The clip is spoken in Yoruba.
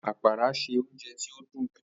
Apara ṣe ounjẹ ti o dun.